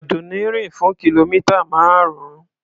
Àdùnní rìn fún kìlómità márùn-ún.